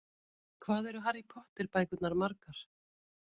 Hvað eru Harry Potter bækurnar margar?